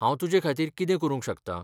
हांव तुजेखातीर कितें करूंक शकतां?